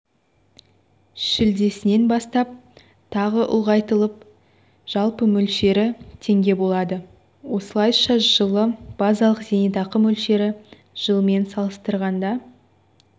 шілдесінен бастап тағы ұлғайтылып жалпы мөлшері теңге болады осылайша жылы базалық зейнетақы мөлшері жылмен салыстырғанда